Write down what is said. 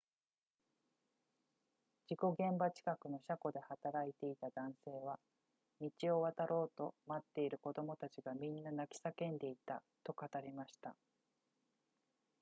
事故現場近くの車庫で働いていた男性は、「道を渡ろうと待っている子供たちがみんな泣き叫んでいた」と語りました